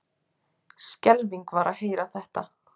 Skelfing var að heyra þetta.